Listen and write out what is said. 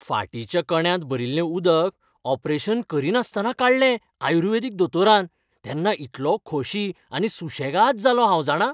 फाटीच्या कण्यांत भरिल्लें उदक ऑपरेशन करिनासतना काडलें आयुर्वेदीक दोतोरान तेन्ना इतलों खोशी आनी सुशेगाद जालों हांव जाणा.